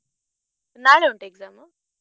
ನಾಳೆ ಉಂಟಾ exam ?